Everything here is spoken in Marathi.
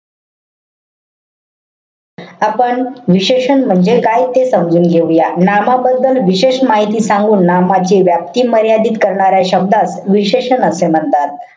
आपण विशेषण म्हणजे काय ते समजून घेऊया. नामाबद्दल विशेष माहिती सांगून नामाची व्याप्ती मर्यादित करण्याच्या शब्दास विशेषण असे म्हणतात.